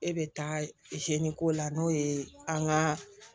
E bɛ taa ko la n'o ye an ka